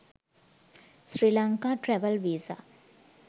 sri lanka travel visa